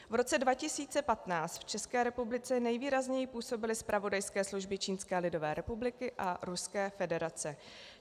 V roce 2015 v České republice nejvýrazněji působily zpravodajské služby Čínské lidové republiky a Ruské federace.